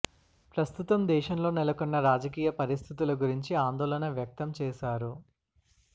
ప్రస్తుతం దేశంలో నెలకొన్న రాజకీయ పరిస్థితుల గురించి ఆందోళన వ్యక్తం చేశారు